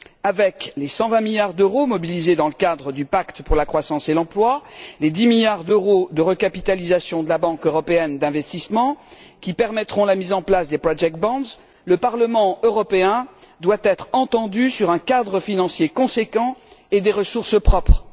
Avec les 120 milliards d'euros mobilisés dans le cadre du pacte pour la croissance et l'emploi, les 10 milliards d'euros de recapitalisation de la Banque européenne d'investissement, qui permettront la mise en place des obligations pour financer des projets, le Parlement européen doit être entendu sur un cadre financier cohérent et sur les ressources propres.